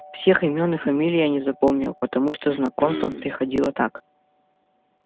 всех имён и фамилий я не запомнил потому что знакомство приходило так